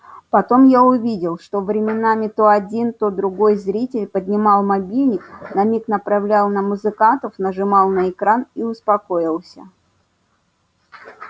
потом я увидел что временами то один то другой зритель поднимал мобильник на миг направлял на музыкантов нажимал на экран и успокоился